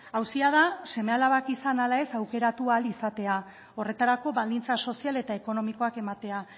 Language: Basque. auzia da seme alabak izan ala ez aukeratu ahal izatea horretarako baldintza sozial eta ekonomikoak ematea